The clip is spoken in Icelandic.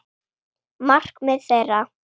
Markmið þeirra.